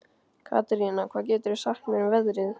Katerína, hvað geturðu sagt mér um veðrið?